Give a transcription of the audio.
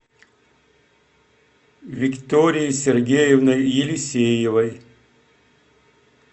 викторией сергеевной елисеевой